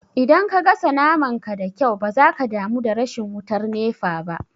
Idan ka gasa naman ka da kyau ba za ka damu da rashin wutar nefa ba